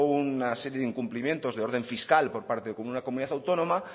una serie de incumplimientos de orden fiscal por parte de una comunidad autónoma